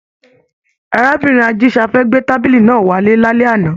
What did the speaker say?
Arábìnrin Ajisafẹ gbé tábìlì náà wá lálẹ́ àná